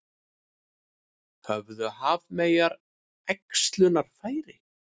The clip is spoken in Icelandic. Höfðu hafmeyjar æxlunarfæri?